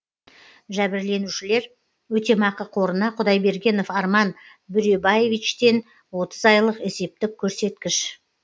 жәбірленушілер өтемақы қорына құдайбергенов арман бөребаевичтен отыз айлық есептік көрсеткіш